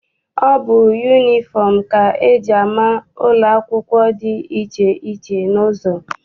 Ọ bụ yunifọm ka eji ama ụlọ akwụkwọ dị iche iche n'ụzọ.